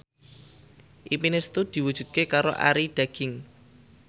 impine Setu diwujudke karo Arie Daginks